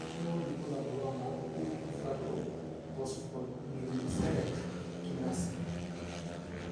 Kainyio irbulabul onaapuku entasato ePhosphoglycerate kinase?